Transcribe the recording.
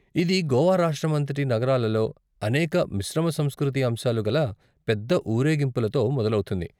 ఇది గోవా రాష్ట్రమంతటి నగరాలలో అనేక మిశ్రమ సంస్కృతి అంశాలు కల పెద్ద ఊరేగింపులతో మొదలవుతుంది.